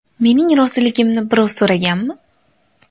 Mening roziligimni birov so‘raganmi?